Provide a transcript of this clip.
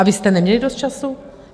A vy jste neměli dost času?